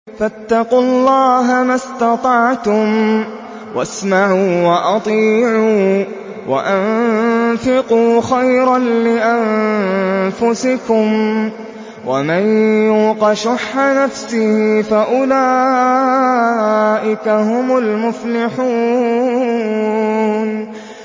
فَاتَّقُوا اللَّهَ مَا اسْتَطَعْتُمْ وَاسْمَعُوا وَأَطِيعُوا وَأَنفِقُوا خَيْرًا لِّأَنفُسِكُمْ ۗ وَمَن يُوقَ شُحَّ نَفْسِهِ فَأُولَٰئِكَ هُمُ الْمُفْلِحُونَ